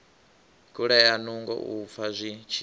kulea nungo u fa zwipfi